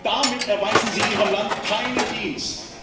Damit erweisen Sie Ihrem Land keinen Dienst!